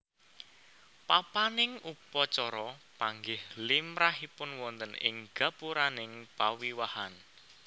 Papaning upacara panggih limrahipun wonten ing gapuraning pawiwahan